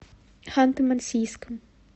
ханты мансийском